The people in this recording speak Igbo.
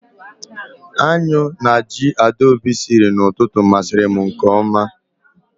Aṅụ na ji Adaobi siri n'ụtụtụ masiri m nke oma